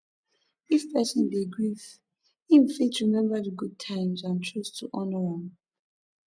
if person dey grief im fit remember di good times and choose to honor am